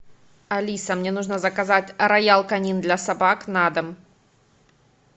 алиса мне нужно заказать роял канин для собак на дом